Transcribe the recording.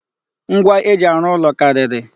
Ngwa eji arụ ụlọ karịrị.